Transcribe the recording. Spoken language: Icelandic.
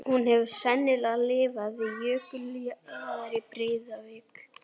Hún hefur sennilega lifað við jökuljaðar í Breiðavík.